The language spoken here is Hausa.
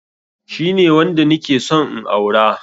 Shine wanda nike son in aura